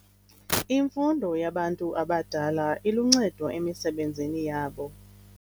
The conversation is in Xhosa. Imfundo yabantu abadala iluncedo emisebenzini yabo.